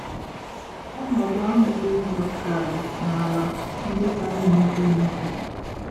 Ọnọdụ ahụ dị njọ karị n'ala ndị ka na-emepe emepe.